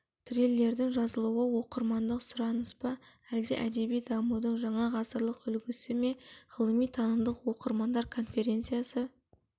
триллердің жазылуы оқырмандық сұраныс па әлде әдеби дамудың жаңа ғасырлық үлгісі ме ғылыми-танымдық оқырмандар конференциясы